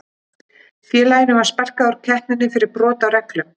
Félaginu var sparkað úr keppninni fyrir brot á reglum.